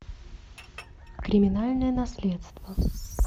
криминальное наследство